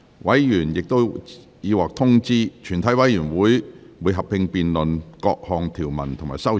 委員已獲通知，全體委員會會合併辯論各項條文及修正案。